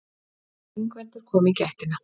Ingveldur kom í gættina.